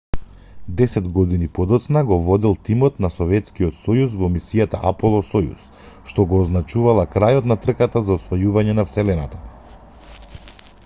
десет години подоцна го водел тимот на советскиот сојуз во мисијата аполо-сојуз што го означувала крајот на трката за освојување на вселената